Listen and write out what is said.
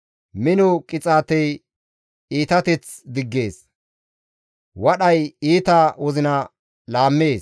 Mino qixaatey iitateth diggees; wadhay iita wozina laammees.